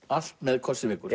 allt með kossi vekur